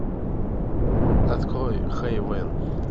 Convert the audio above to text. открой хейвен